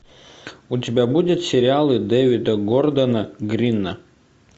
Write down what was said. у тебя будет сериалы дэвида гордона грина